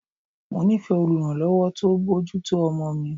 Mo nífẹ̀ẹ́ oluranlowo tó ń bójú tó ọmọ mi.